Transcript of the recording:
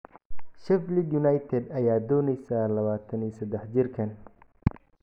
Sheffield United ayaa dooneysa 23 jirkaan.